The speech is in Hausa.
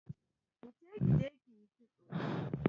Wuce kije kiyi kitso.